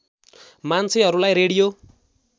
मान्छेहरूलाई रेडियो